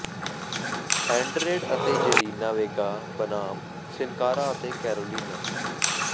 Andrade ਅਤੇ Zelina Vega ਬਨਾਮ Sin Cara ਅਤੇ ਕੈਰੋਲੀਨਾ